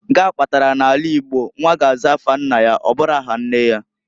Nke a kpatalu n'ala Igbo nwa ga-aza afa nna ya, ọbụro aha nne ya.